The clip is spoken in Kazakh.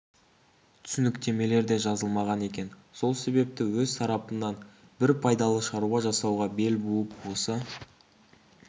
түсініктемелер де жазылмаған екен сол себепті өз тарапымнан бір пайдалы шаруа жасауға бел буып осы